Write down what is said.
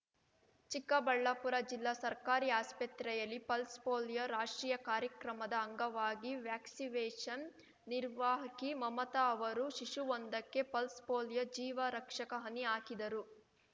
ಚಿಕ್ಕಬಳ್ಳಾಪುರ ಜಿಲ್ಲಾ ಸರ್ಕಾರಿ ಆಸ್ಪತ್ರೆಯಲ್ಲಿ ಪಲ್ಸ್ ಪೋಲಿಯೋ ರಾಷ್ಟ್ರೀಯ ಕಾರ್ಯಕ್ರಮದ ಅಂಗವಾಗಿ ವ್ಯಾಕ್ಸಿವೇಷನ್ ನಿರ್ವಾಹಕಿ ಮಮತಾ ಅವರು ಶಿಶುವೊಂದಕ್ಕೆ ಪಲ್ಸ್ ಪೋಲಿಯೋ ಜೀವ ರಕ್ಷಕ ಹನಿ ಹಾಕಿದರು